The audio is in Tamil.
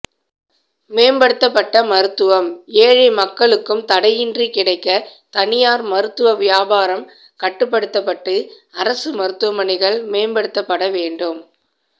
மேம்படுத்தப்பட்ட மருத்துவம் ஏழை மக்களுக்கும் தடையின்றி கிடைக்க தனியார் மருத்துவ வியாபாரம் கட்டுப்படுத்தபட்டு அரசு மருத்துவமனைகள் மேம்படுத்தப்பட வேண்டும்